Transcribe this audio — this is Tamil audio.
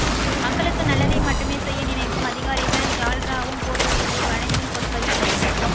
மக்களுக்கு நல்லதை மட்டுமே செய்ய நினைக்கும் அதிகாரிகள் ஜால்ராவும் போடுவதில்லை வளைந்தும் கொடுப்பதில்லை